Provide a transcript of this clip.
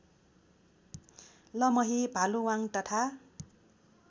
लमही भालुवाङ तथा